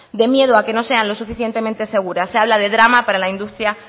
de miedo a que no sean lo suficientemente seguras se habla de drama para la industria